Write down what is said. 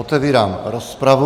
Otevírám rozpravu.